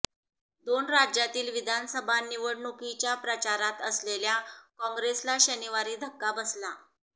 दोन राज्यातील विधानसभा निवडणुकीच्या प्रचारात असलेल्या काँग्रेसला शनिवारी धक्का बसला